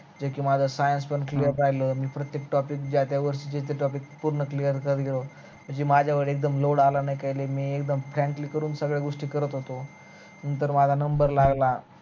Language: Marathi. जे पण माझ science पण clear राहील आणि प्रतेक topic जे आहे त्या गोष्टीच जे topic पूर्ण clear करलो जी माझ्याकड एकदम load आला नाही काही नाही मी एकदम frankly करून सगळ्या गोष्टी करत होतो नंतर माझा number लागला